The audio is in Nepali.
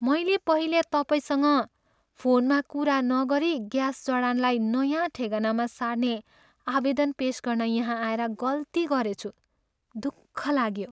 मैले पहिले तपाईँसँग फोनमा कुरा नगरी ग्यास जडानलाई नयाँ ठेगानामा सार्ने आवेदन पेस गर्न यहाँ आएर गल्ती गरेछु। दुःख लाग्यो।